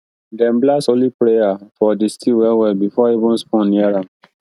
dem blast holy prayer for di stew wellwell before even spoon near am